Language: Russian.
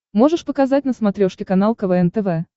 можешь показать на смотрешке канал квн тв